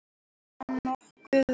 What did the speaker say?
Bara nokkuð vel.